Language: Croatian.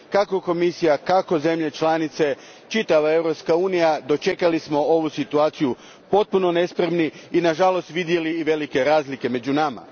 Kako Komisija, kako zemlje članice, tako i čitava Europska unija dočekali smo ovu situaciju potpuno nespremni i nažalost vidjeli i velike razlike među nama.